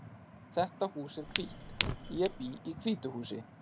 Þetta hús er hvítt. Ég bý í hvítu húsi.